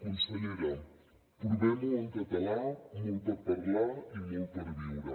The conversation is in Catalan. consellera provem ho en català molt per parlar i molt per viure